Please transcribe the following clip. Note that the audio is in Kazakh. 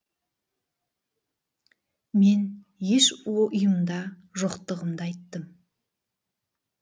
мен еш ұйымда жоқтығымды айттым